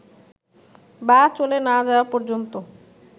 বা চলে না-যাওয়া পর্যন্ত